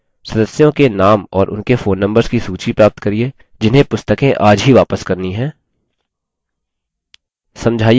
3 सदस्यों के names और उनके phone numbers की सूची प्राप्त करिये जिन्हें पुस्तकें आज ही वापस करनी है